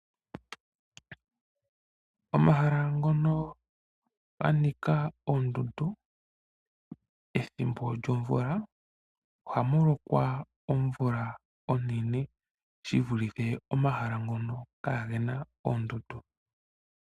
Omahala ngono ganika oondundu pethimbo lyomvula oha mulokwa omvula onene shi vilithe omahala ngono kaagena oondundu.